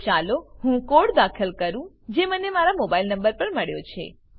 તો ચાલો હું કોડ દાખલ કરું જે મને મારા મોબાઈલ નંબર પર મળ્યો છે